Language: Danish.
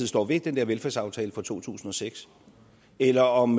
står ved den der velfærdsaftale fra to tusind og seks eller om